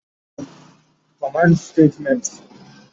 command Statements